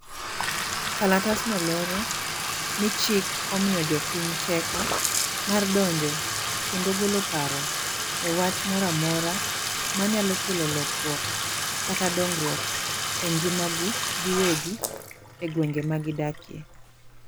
Kalatasno lero, ni chik omiyo jopiny teko, mar donjo kendo golo paro e wach moro amora manyalo kelo lokruok kata dongruok e ngimagi giwegi e gwenge ma gidakie.